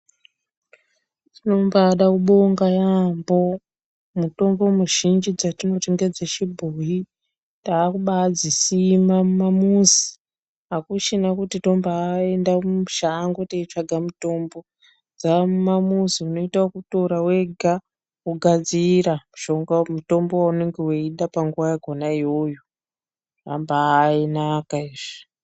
Tinombada kubonga yaamho. Mutombo muzhinji dzatinoti ngedzechibhoyi takubadzisima mumamuzi, hakuchina kuti tombaenda mushango teitsvaka mutombo. Dzamumamuzi unoita okutira wega wogadzira mutombo wounonga weida panguwa yachona iyoyo. Zvambainaka izvi.